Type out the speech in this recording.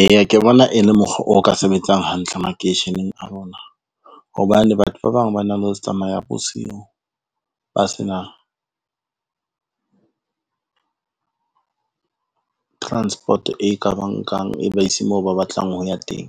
Eya ke bona e le mokgwa o ka sebetsang hantle makeisheneng a rona, hobane batho ba bang ba na le ho tsamaya bosiu, ba se na transport, e ka ba nkang e ba ise moo ba batlang ho ya teng.